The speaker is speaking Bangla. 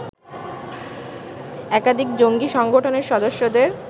একাধিক জঙ্গি সংগঠনের সদস্যদের